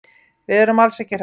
Við erum alls ekki hræddir.